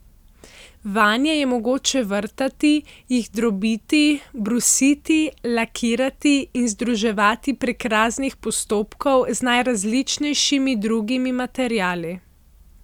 Vanje je mogoče vrtati, jih drobiti, brusiti, lakirati in združevati prek raznih postopkov z najrazličnejšimi drugimi materiali.